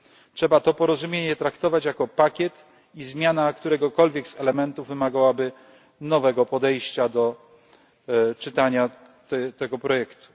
Trzeba to porozumienie traktować jako pakiet i zmiana któregokolwiek z elementów wymagałaby nowego podejścia do czytania tego projektu.